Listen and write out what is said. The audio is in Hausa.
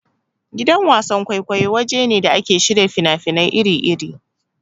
Gidan wasan-kwaikwayo waje ne da ake shirya fina-finai iri-iri.